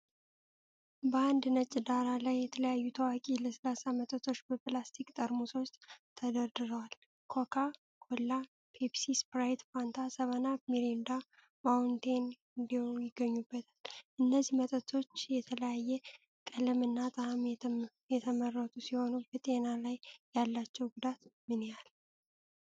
በአንድ ነጭ ዳራ ላይ የተለያዩ ታዋቂ ለስላሳ መጠጦች በፕላስቲክ ጠርሙሶች ተደርድረዋል። ኮካ ኮላ፣ ፔፕሲ፣ ስፕራይት፣ ፋንታ፣ 7አፕ፣ ሚሪንዳ፣ ማውንቴን ዴው ይገኙበታል። እነዚህ መጠጦች በተለያየ ቀለምና ጣዕም የተመረቱ ሲሆኑ፣ በጤና ላይ ያላቸው ጉዳት ምን ያህል